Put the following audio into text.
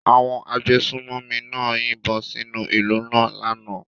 Àwọn agbésùnmòmí náà yìnbọn sínú ìlú náà lánàá.